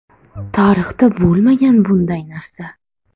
Tarixda bo‘lmagan bunday narsa.